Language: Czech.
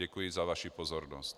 Děkuji za vaši pozornost.